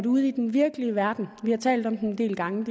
ude i den virkelige verden vi har talt om den en del gange